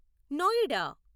Noida